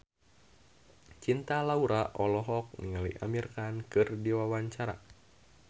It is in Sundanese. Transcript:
Cinta Laura olohok ningali Amir Khan keur diwawancara